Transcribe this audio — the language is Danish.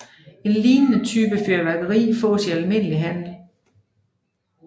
En lignende type fyrværkeri fås i almindelig handel